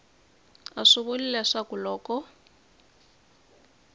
a swi vuli leswaku loko